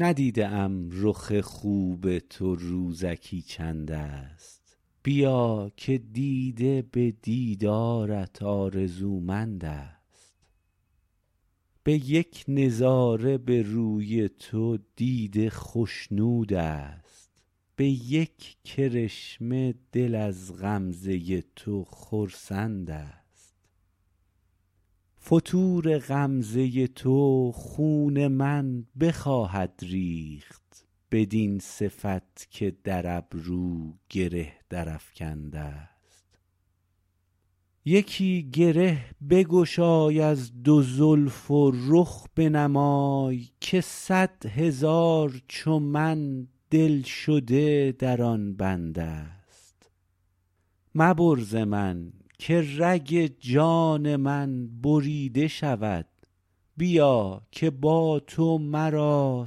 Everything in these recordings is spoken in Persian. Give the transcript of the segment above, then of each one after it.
ندیده ام رخ خوب تو روزکی چند است بیا که دیده به دیدارت آرزومند است به یک نظاره به روی تو دیده خشنود است به یک کرشمه دل از غمزه تو خرسند است فتور غمزه تو خون من بخواهد ریخت بدین صفت که در ابرو گره درافکند است یکی گره بگشای از دو زلف و رخ بنمای که صدهزار چو من دلشده در آن بند است مبر ز من که رگ جان من بریده شود بیا که با تو مرا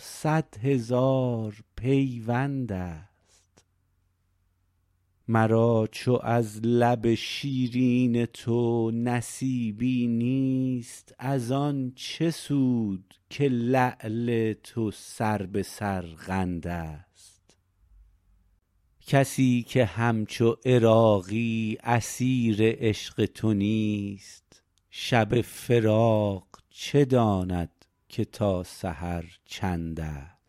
صدهزار پیوند است مرا چو از لب شیرین تو نصیبی نیست از آن چه سود که لعل تو سر به سرقند است کسی که همچو عراقی اسیر عشق تو نیست شب فراق چه داند که تا سحر چند است